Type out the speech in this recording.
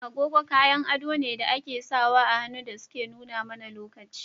Agogo kayan ado ne da ake *sawa ahannu dasuke nuna mana lokaci.